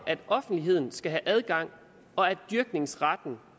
at offentligheden skal have adgang og at dyrkningsretten